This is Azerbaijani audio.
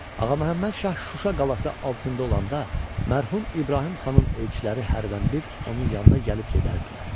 Ağaməhəmməd şah Şuşa qalası altında olanda mərhum İbrahim xanın elçiləri hərdən bir onun yanına gəlib gedərdilər.